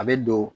A bɛ don